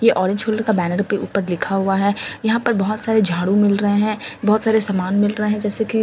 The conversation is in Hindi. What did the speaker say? ये ऑरेंज होलडर का बैनर पे ऊपर लिखा हुआ है यहां पर बहुत सारे झाड़ू मिल रहे हैं बहुत सारे सामान मिल रहे हैं जैसे कि--